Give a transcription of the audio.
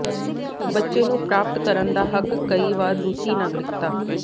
ਬੱਚੇ ਨੂੰ ਪ੍ਰਾਪਤ ਕਰਨ ਦਾ ਹੱਕ ਕਈ ਵਾਰ ਰੂਸੀ ਨਾਗਰਿਕਤਾ